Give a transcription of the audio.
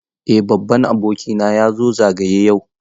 Eh babban abokina ya zo zagaye yau.